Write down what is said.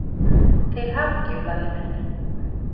Til hamingju, Lalli minn.